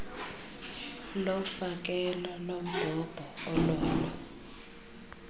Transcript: lofakelo lombhobho ololo